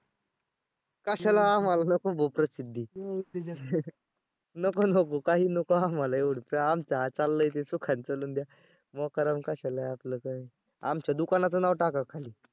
कशाला आम्हाला नको बाबा प्रसिद्धी नको नको काही नको आम्हाला एवढं आमचं चाललंय ते सुखानं चालू द्या